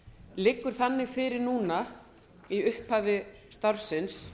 liggur þannig fyrir núna í upphafi starfsins